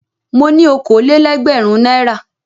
Mo ní okòó-lé-ẹgbẹ̀rún náírà.